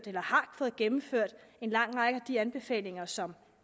eller har fået gennemført en lang række af de anbefalinger som